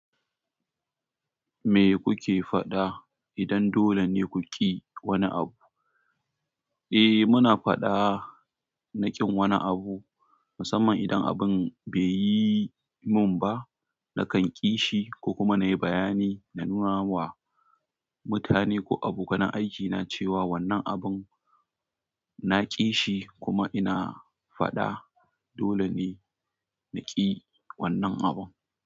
Me kuke faɗa idan dole ne ku ƙi wani abu? Eh, muna faɗa na ƙin wani abu. Musamman idan abun baiyi min ba nakan ki shi kokuma nayi bayani na nunawa mutane ko abokan aikina cewa wannan abin na ƙi shi kuma ina faɗa dole ne na ƙi wannan abun.